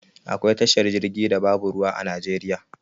Akwai tashar jirgi da babu ruwa a najeriya